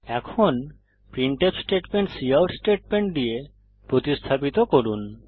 এখন printf statement cout statement দিয়ে প্রতিস্থাপিত করুন